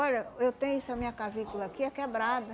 Olha, eu tenho essa minha clavícula aqui, é quebrada.